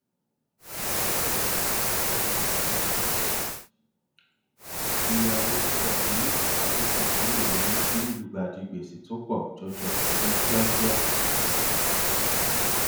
yíya owó púpọ ní àkókò kan lè yọrí sí ilugbàdì gbèsè tó pọ jọjọ ní kíákíá